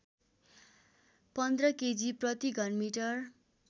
१५ K G प्रतिघनमिटर